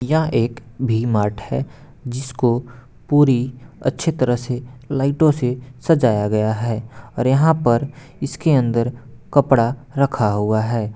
यह एक V mart है जिसको पूरी अच्छी तरह से लाइटों से सजाया गया है और यहाँ पर इसके अंदर कपड़ा रखा हुआ है।